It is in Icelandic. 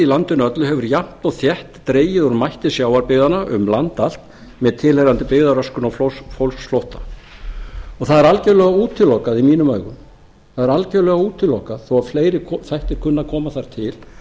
landinu öllu hefur jafnt og þétt dregið úr mætti sjávarbyggðanna um landið allt með tilheyrandi byggðaröskun og fólksflótta það er algjörlega útilokað í mínum augum það er algjörlega útilokað þó fleiri þættir kunni að koma þar til